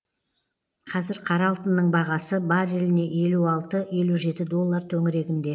қазір қара алтынның бағасы барреліне елу алты елу жеті доллар төңірегінде